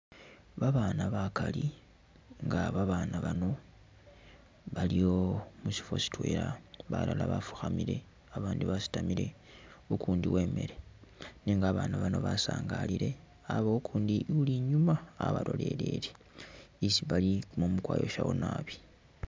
Babaana bakaali nga babaana bano bali mushifo shitwela balala bafukhamile abandi basitamile ukundi wemile nenga abana bano basangalile abawo ukundi uli inyuma wabalolelele, isi Bali kumumu kwa’yoshawo naabi